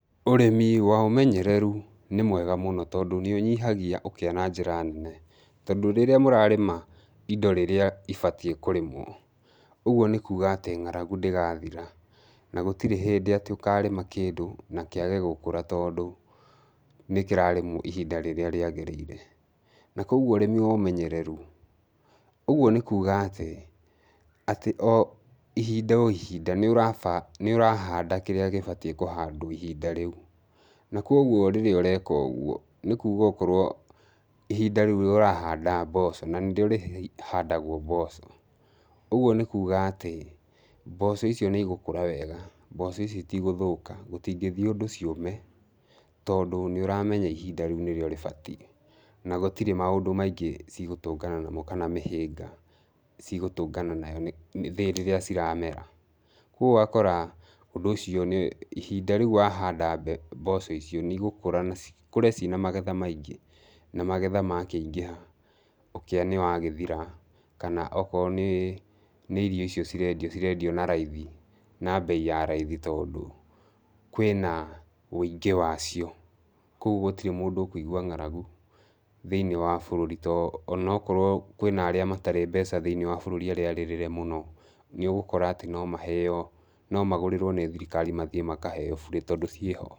Ũrĩmi wa ũmenyereru nĩ mwega mũno tondũ, nĩ ũnyihagia ũkĩa na njĩra nene, tondũ rĩrĩa mũrarĩma indo rĩrĩa ibatie kũrĩmwo, ũguo nĩ kuuga atĩ ng'aragu ndĩgathira, na gũtirĩ hĩndĩ atĩ ũkarĩma kĩndũ na kĩage gũkũra tondũ nĩ kĩrarĩmwo ihinda rĩrĩa rĩagĩrĩire, na koguo ũrĩmi wa ũmenyereru, ũguo nĩ kuuga atĩ, atĩ o ihinda o ihinda nĩ ũrahanda kĩrĩa gĩbatiĩ kũhandwo ihinda rĩu, na koguo rĩrĩa ũreka ũguo, nĩ kuuga okorwo ihinda rĩu ũrahanda mboco na nĩ rĩo rĩhandagwo mboco, ũguo nĩ kuuga atĩ mboco icio nĩ igũkũra wega, mboco icio itigũthũka, gũtingĩthiĩ ũndũ ciũme, tondũ nĩ ũramenya ihinda rĩu nĩrĩo rĩbatie na gũtirĩ maũndũ maingĩ cigũtũngana namo kana mĩhĩnga cigũtũnga nayo rĩrĩa ciramera, koguo ũgakora ũndũ ũcio nĩ ihinda rĩu wahanda mboco icio nĩ igũkũra na cikũre ciĩna magetha maingĩ, na magetha makĩingĩha, ũkĩa nĩ wagĩthira, kana okorwo nĩ nĩ irio icio cirendio cirendio na raithi, na mbei ya raithi tondũ kwĩna wũingĩ wacio, koguo gũtirĩ mũndũ ũkũigwa ng'aragu thĩinĩ wa barũri ta onokorwo kwĩna arĩa matarĩ mbeca thĩinĩ wa bũrũri arĩa arĩrĩre mũno, nĩ ũgũkora atĩ no maheo, no magũrĩrwo nĩ thirikari mathiĩ makaheo burĩ tondũ ciĩ ho.